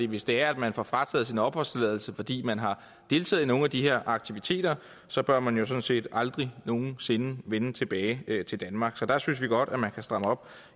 hvis det er at man får frataget sin opholdstilladelse fordi man har deltaget i nogle af de her aktiviteter så bør man jo sådan set aldrig nogen sinde vende tilbage til danmark så der synes vi godt at man kan stramme op